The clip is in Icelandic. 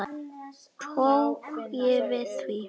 Og tók ég því.